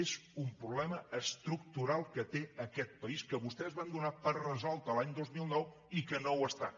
és un problema estructural que té aquest país que vostès van donar per resolt l’any dos mil nou i que no ho està